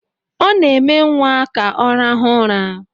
Ọ na-eme nwa ka ọ rahụ ụra